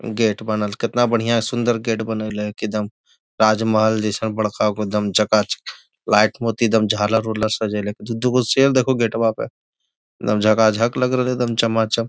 Gate बनल कितना बढ़िया सुन्दर गेट बनइले है की दम राजमहल जइसन एकदम बड़का गो एकदम चकाचक लाइट मोती एकदम झालर उलर सजईले दू गो शेर देखो गेटवा पे दम झकाझक लग रहलो एकदम चमाचम।